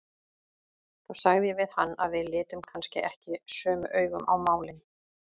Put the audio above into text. Þá sagði ég við hann að við litum kannski ekki sömu augum á málin.